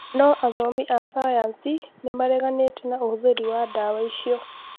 no athomi a sayansi nĩ mareganĩte na ũhũthĩri wa ndawa icio